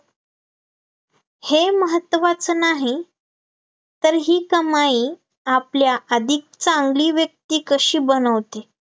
हे महत्वाचं नाही, तर ही कमाई आपल्या अधिक चांगली व्यक्ती कशी बनवते?